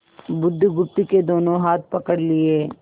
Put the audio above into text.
बुधगुप्त के दोनों हाथ पकड़ लिए